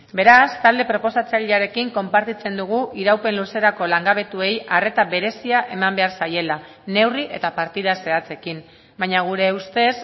beraz talde proposatzailearekin konpartitzen dugu iraupen luzerako langabetuei arreta berezia eman behar zaiela neurri eta partida zehatzekin baina gure ustez